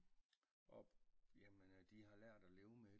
Og jamen øh de har lært at leve med